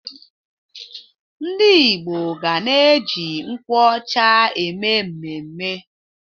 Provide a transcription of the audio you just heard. Ndị Igbo ga na-eji nkwụ ọcha eme mmemme.